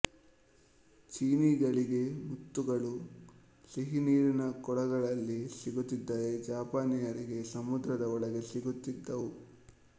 ಚೀನಿಗಳಿಗೆ ಮುತ್ತುಗಳು ಸಿಹಿನೀರಿನಕೊಳಗಳಲ್ಲಿ ಸಿಗುತ್ತಿದ್ದರೆ ಜಪಾನೀಯರಿಗೆ ಸಮುದ್ರದ ಒಳಗೆ ಸಿಗುತ್ತಿದ್ದವು